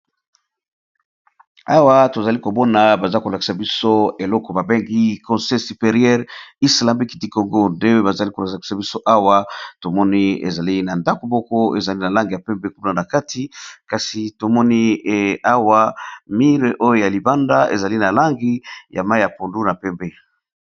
Awa tozali kobona baza kolakisa biso eloko babengi consei superieure islamiqi tikongo d bazali kolakisa biso awa tomoni ezali na ndako mboko ezali na langi ya pembe kuna na kati kasi tomoni awa mire oyo ya libanda ezali na langi ya mai ya pondu na pembe.